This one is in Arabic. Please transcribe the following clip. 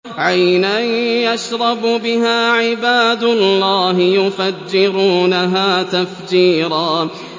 عَيْنًا يَشْرَبُ بِهَا عِبَادُ اللَّهِ يُفَجِّرُونَهَا تَفْجِيرًا